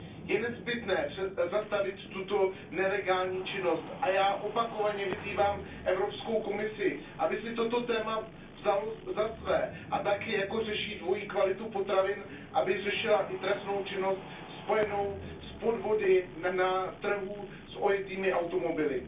Je nezbytné zastavit tuto nelegální činnost a já opakovaně vyzývám Evropskou komisi, aby si toto téma vzala za své a tak, jako řeší dvojí kvalitu potravin, aby řešila i trestnou činnost spojenou s podvody na trhu s ojetými automobily.